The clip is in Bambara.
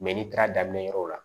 n'i taara daminɛ yɔrɔ la